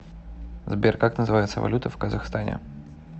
сбер как называется валюта в казахстане